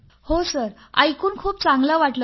हो सर हे ऐकून खूपच चांगले वाटले सर